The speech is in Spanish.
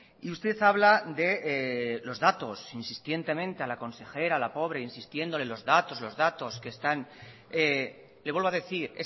y usted habla de los datos insistentemente a la consejera la pobre insistiéndole los datos los datos que están le vuelvo a decir